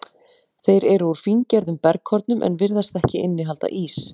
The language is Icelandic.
Þeir eru úr fíngerðum bergkornum en virðast ekki innihalda ís.